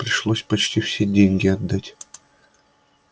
пришлось почти все деньги отдать